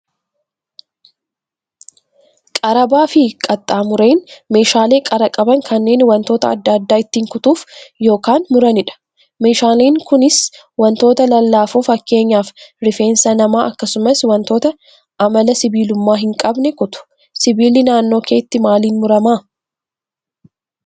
Qarabaa fi qaxxaamureen meeshaalee qara qaban kanneen wantoota adda addaa ittiin kutuuf yookaan muranidha. Meeshaaleen kunis wantoota lallaafoo fakkeenyaaf rifeensa namaa akkasumas wantoota amala sibiilummaa hin qabne kutu. Sibiilli naannoo keetti maaliin murama?